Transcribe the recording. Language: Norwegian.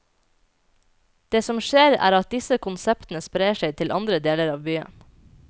Det som skjer er at disse konseptene sprer seg til andre deler av byen.